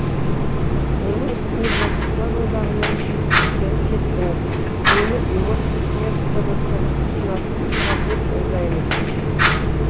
оның үстіне жазушылар одағынан шығып кеттіңіз мені ұйғыр диаспорасы ұсынатын шығар деп ойлаймын